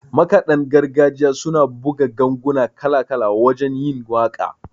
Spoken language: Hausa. Makaɗan gargajiya suna buga ganguna kala-kala wajen yin waƙa